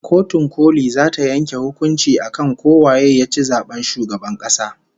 Kotun koli zata yanke hukuncin akan ko waye yaci zaben shugaban kasa